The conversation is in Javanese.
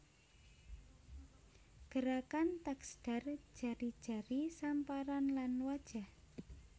Gerakan taksdar jari jari samparan lan wajah